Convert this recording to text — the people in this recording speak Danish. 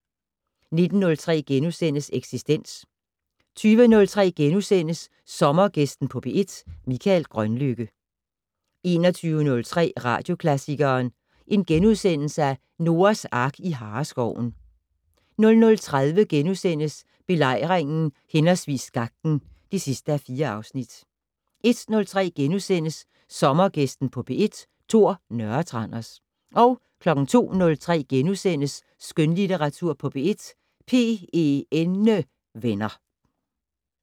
19:03: Eksistens * 20:03: Sommergæsten på P1: Mikael Grønlykke * 21:03: Radioklassikeren: Noahs Ark i Hareskoven * 00:30: Belejringen/Skakten (4:4)* 01:03: Sommergæsten på P1: Tor Nørretranders * 02:03: Skønlitteratur på P1: PENnevenner *